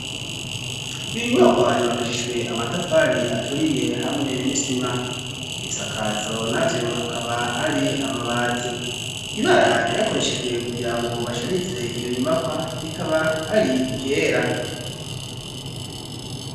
Iyo nyubakwa yubakishijwe amatafari aturiye hamwe n'isima; ibisakazo navyo akaba ari amabati. Ibara ryakoreshejwe kugira ngo basharize iyo nyubakwa rikaba ari iryera.